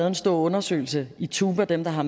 en stor undersøgelse i tuba dem der har